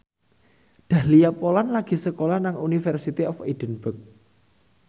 Dahlia Poland lagi sekolah nang University of Edinburgh